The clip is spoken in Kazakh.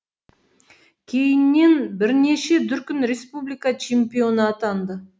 кейіннен бірнеше дүркін республика чемпионы атанды